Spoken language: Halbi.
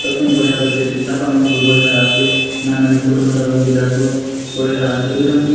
दर्पण बढि़या दखेसे छाता मन बले बढ़िया आसे नानी-नानी फोटो मन लगाऊं दिला सोत बढ़िया आसे एक दम की--